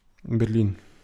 Berlin.